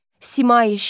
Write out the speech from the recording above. Simai-Şəms.